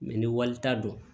ni walita dɔn